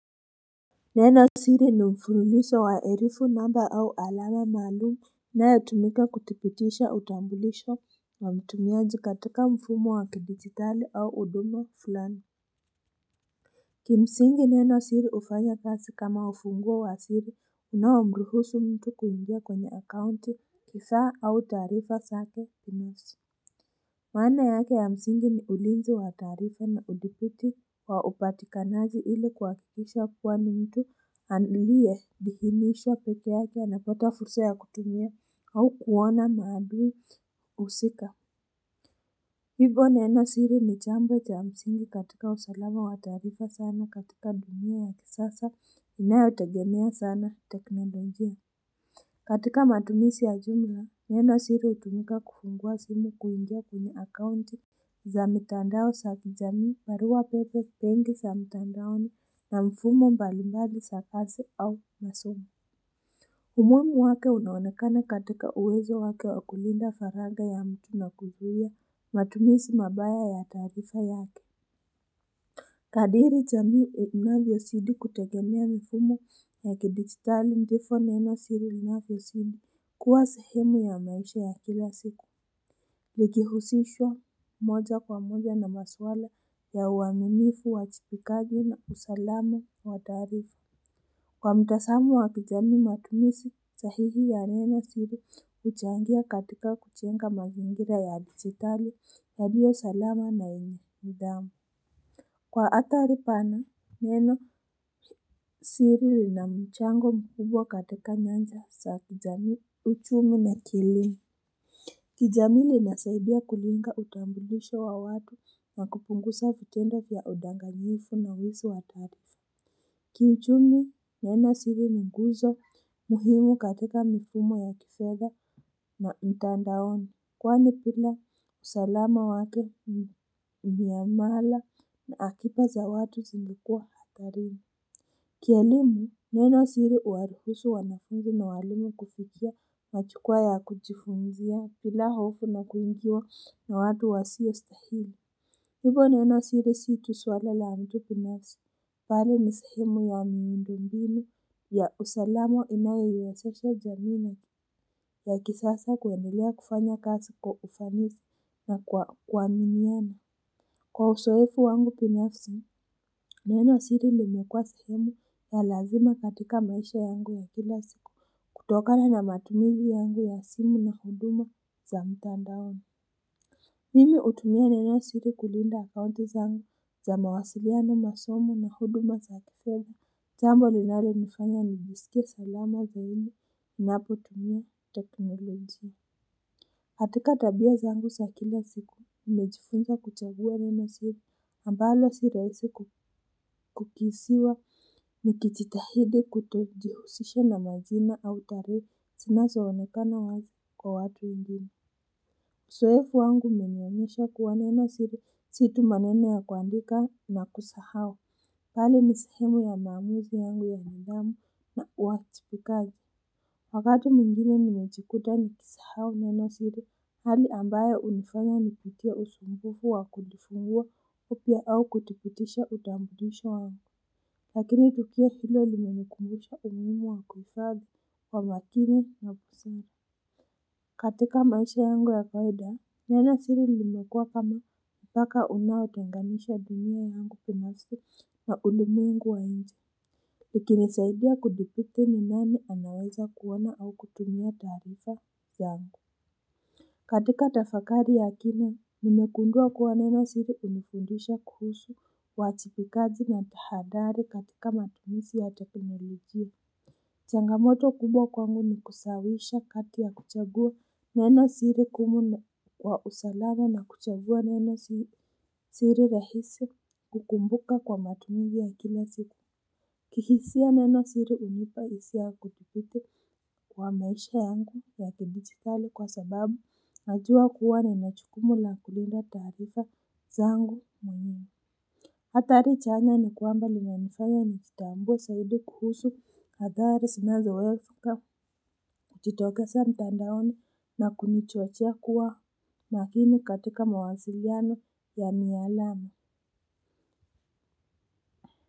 Neno siri ni mfululizo wa herufi namba au alama maalumu inayotumika kutupitisha utambilisho wa mtumiaji katika mfumo wa kidijitali au huduma fulani. Kimsingi neno siri hufanya kazi kama ufunguo wa siri unaomruhusu mtu kuingia kwenye account kifaa au taarifa zake binafsi. Maana yake ya msingi ni ulinzi wa taarifa na udhibiti wa upatikanaji ili kuhakikisha kuwa ni mtu alie thihinishwa peke yake anapata fursa ya kutumia au kuona maadui husika. Hivo neno siri ni chambo cha msingi katika usalama wa taarifa sana katika dunia ya kisasa inayotegemea sana teknolojia. Katika matumisi ya jumla, neno siri hutumika kufungua simu kuingia kwenye akaunti za mitandao sa kijamii parua pepe pengi sa mitandaoni na mfumo mbali mbali sa kazi au masomo. Umuhimu wake unaonekana katika uwezo wake wa kulinda faragha ya mtu na kuzuia matumisi mabaya ya taarifa yake. Kadiri jamii inavyosidi kutegemea mifumo ya kidigitali ndifo neno siri sinafyosidi kuwa sehemu ya maisha ya kila siku. Likihusishwa moja kwa moja na maswala ya uaminifu wa uwajibikaji na usalama wa taarifa. Kwa mtazamo wa kijamii matumizi, sahihi ya neno siri huchangia katika kujenga mazingira ya digitali yaliyo salama na yenye nidhamu. Kwa athari pana, neno siri lina mchango mkubwa katika nyanja za kijamii uchumi na akilini. Kijamii linasaidia kulinga utambulisho wa watu na kupunguza vitendo vya udanganyifu na wizi wa taarifa. Kiuchumi neno siri ni nguzo muhimu katika mifumo ya kifedha na mtandaoni. Kwani bila usalama wake miamala na akiba za watu zingekuwa hatarini. Kielimu, neno siri huwaruhusu wanafunzi na walimu kufikia majukwaa ya kujifunzia bila hofu na kuingiwa na watu wasiostahili. Hivo neno siri si tu swala la mtu binafsi. Bali ni sehemu ya miundombinu ya usalama inayoiwezesha jamii ya kisasa kuendelea kufanya kazi kwa ufanisi na kwa kuaminiana. Kwa uzoefu wangu binafsi neno siri limekwa sehemu ya lazima katika maisha yangu ya kila siku. Kutokana na matumizi yangu ya simu na huduma za mtandaoni Mimi hutumia nenosiri kulinda akaunti zangu za mawasiliano masomo na huduma za kifedha jambo linalonifanya nijisikie salama zaidi, ninapotumia teknologia. Katika tabia zangu za kila siku, nimejifunza kuchagua neno siri. Ambalo si rahisi kukisiwa, nikijitahidi kutojihusisha na majina au taarifa, zinazoonekana wazi kwa watu wengine. Uzoefu wangu umenionyesha kuwa neno siri, si tu maneno ya kuandika na kusahau. Bali ni sehemu ya maamuzi yangu ya nidhamu na uwajibikaji. Wakati mwingine nimejikuta nikisahau neno siri. Hali ambayo hunifanya nipitie usumbufu wa kujifungua upya au kuthibitisha utambulisho wangu. Lakini tukio hilo limenikumbusha umuhimu wa kuifadhi kwa makini na busara. Katika maisha yangu ya kawaida neno siri limekuwa kama mpaka unaotenganisha dunia yangu binafsi na ulimwengu wa nje. Ikinisaidia kuthibiti ni nani anaweza kuona au kutumia taarifa zangu. Katika tafakari ya kina, nimegundua kuwa neno siri hunifundisha kuhusu uwajibikaji na tahadhari katika matumizi ya teknolojia. Changamoto kubwa kwangu ni kusawisha kati ya kuchagua neno siri ngumu kwa usalama na kuchagua neno siri rahisi kukumbuka kwa matumizi ya kila siku. Kihisia neno siri hunipa hisia ya kuthibiti kwa maisha yangu ya kidijitali kwa sababu najua kuwa nina jukumu la kulinda taarifa zangu mwenyewe. Hatari chanya ni kwamba linanifanya nijitambue zaidi kuhusu athari zinazoweka kujitokeza mtandaoni na kunichochea kuwa makini katika mawasiliano ya mialama.